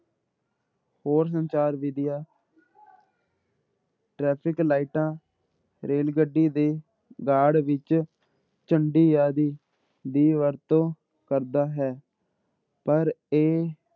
ਹੋਰ ਸੰਚਾਰ ਵਿੱਧੀਆਂ ਟਰੈਫ਼ਿਕ ਲਾਇਟਾਂ, ਰੇਲ ਗੱਡੀ ਦੇ guard ਵਿੱਚ ਝੰਡੀ ਆਦਿ ਦੀ ਵਰਤੋਂ ਕਰਦਾ ਹੈ, ਪਰ ਇਹ